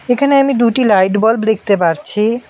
এখানে আমি দুটি লাইট বাল্ব দেখতে পারছি।